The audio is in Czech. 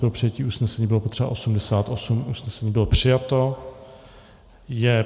Pro přijetí usnesení bylo potřeba 88, usnesení bylo přijato.